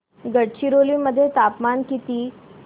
गडचिरोली मध्ये तापमान किती